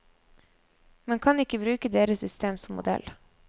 Man kan ikke bruke deres system som modell.